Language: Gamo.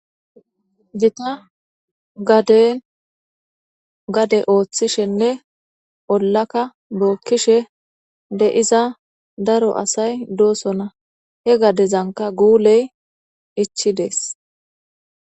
gita gade gade ooththishenne ollaka bookkishe de'iza daro asay doosona he gadezanka guuley ichidees